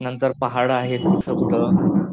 नंतर पहाड आहेत कुठं कुठं